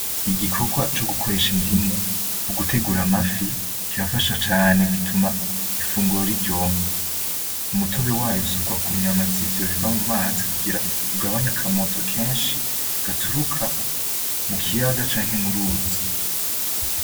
Igikogwa cogukoresha indimu mugutegura amafi kirafasha cane gituma ifunguro riryoha. Umutobe wayo usukwa kunyama zivyo biva mu mazi kugira ugabanye akamoto kenshi gaturuka mukiyaga canke muruzi.